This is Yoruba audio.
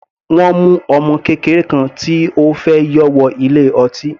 Wọ́n mu ọmọ kékeré kan tí ó fẹ́ yọ wọ ilé ọtí.